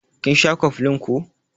Kin sha cofflin ko?